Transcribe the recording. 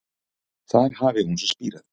Þar hafi hún svo spírað